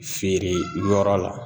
Feere yɔrɔ la